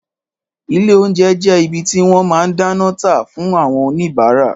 Ìlé ounjé jé ìbí tí wõn má dánõ tá fun awõn òníbàrá